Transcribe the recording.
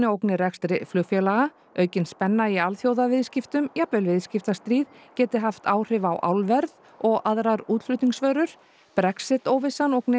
ógni rekstri flugfélaga aukin spenna í alþjóðaviðskiptum jafnvel viðskiptastríð geti haft áhrif á álverð og aðrar útflutningsvörur Brexit óvissan ógni